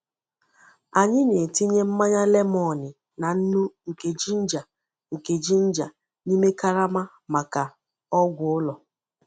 Anyị na-etinye mmanya lemoni na nnu nke ginger nke ginger n’ime karama maka ọgwụ ụlọ.